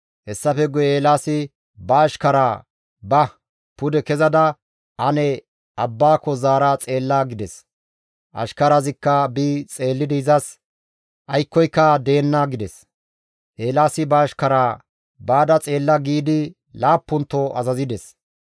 Hessafe guye Eelaasi ba ashkaraa, «Ba; pude kezada ane abbaako zaara xeella» gides. Ashkarazikka bi xeellidi izas, «Aykkoyka deenna» gides. Eelaasi ba ashkaraa, «Baada xeella» giidi laappunto azazides.